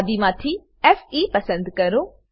યાદી માંથી ફે પસંદ કરો